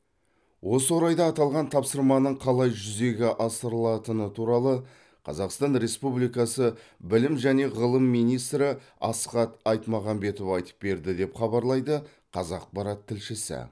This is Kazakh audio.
осы орайда аталған тапсырманың қалай жүзеге асырылатыны туралы қазақстан республикасы білім және ғылым министрі асхат айтмағамбетов айтып берді деп хабарлайды қазақпарат тілшісі